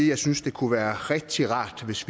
jeg synes det kunne være rigtig rart hvis